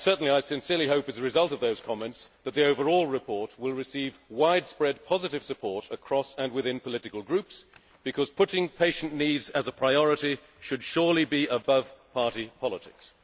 I sincerely hope that, as a result of those comments, the overall report will receive widespread positive support across and within political groups, because making patient needs a priority should surely be above party politics.